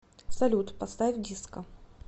салют поставь диско